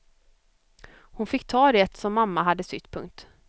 Hon fick ta det som mamma hade sytt. punkt